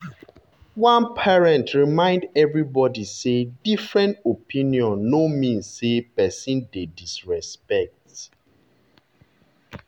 one parent remind everybody say different opinion no mean say person dey disrespect.